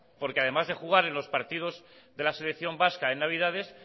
porque además de jugar en los partidos de la selección vasca en navidades